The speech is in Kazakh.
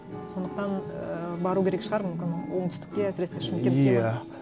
сондықтан ііі бару керек шығар мүмкін оңтүстікке әсіресе шымкентке ме иә